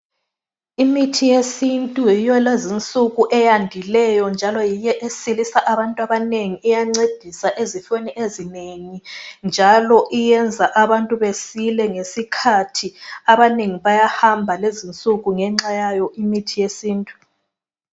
Imithi yesintu yiyo lezi insuku eyandileyo njalo yiyo esilisa abantu abanengi iyancedisa ezifweni ezinengi njalo iyenza abantu besile ngesikhathi abanengi bayahamba lezi insuku ngenxa yayo imithi yesintu .